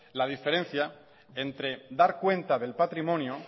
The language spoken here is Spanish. la diferencia entre dar cuenta del patrimonio